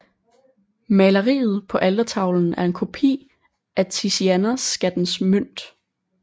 Maleriet på altertavlen er en kopi af Tizianos Skattens Mønt